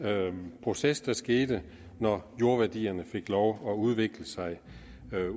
proces der skete når jordværdierne fik lov at udvikle sig